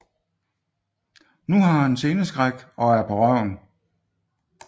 Nu har han sceneskræk og er på røven